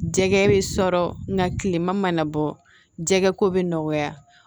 Jɛgɛ bɛ sɔrɔ nka kilema mana bɔ jɛgɛ ko bɛ nɔgɔya